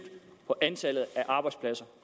på antallet af arbejdspladser